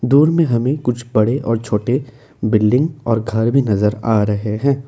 दूर में हमें कुछ बड़े और छोटे बिल्डिंग और घर भी नजर आ रहे हैं।